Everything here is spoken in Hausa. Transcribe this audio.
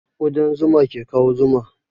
Ƙudan zuma ke kawo zuma